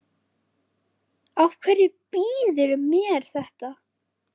Af hverju býðurðu mér þetta?